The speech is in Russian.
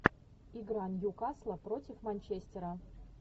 игра ньюкасла против манчестера